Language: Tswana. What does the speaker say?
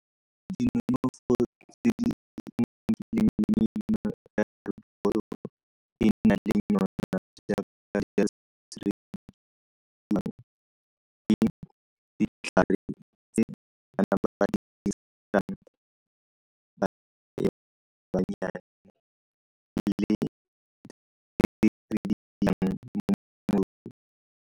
Dinonofo tse di ditlhare tse ba di dirisang .